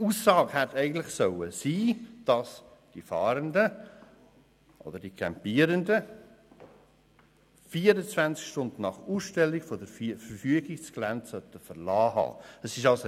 Die Aussage hätte eigentlich sein sollen, dass die Fahrenden beziehungsweise die Campierenden 24 Stunden nach Ausstellung der Verfügung das Gelände verlassen haben müssen.